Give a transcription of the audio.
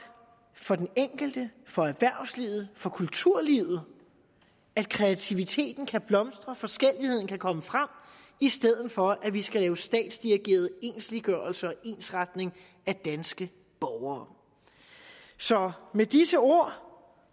for den enkelte for erhvervslivet for kulturlivet at kreativiteten kan blomstre og forskelligheden kan komme frem i stedet for at vi skal lave statsdirigeret ensliggørelse og ensretning af danske borgere så med disse ord